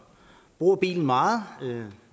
bruger bilen meget